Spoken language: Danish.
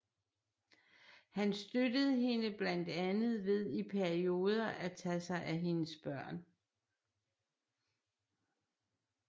Han støttede hende blandt andet ved i perioder at tage sig af hendes børn